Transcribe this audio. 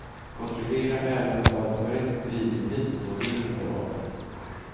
Kontrollera även så att korrekt drivrutin för modemet är valt.